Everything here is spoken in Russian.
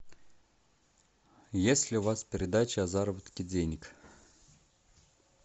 есть ли у вас передача о заработке денег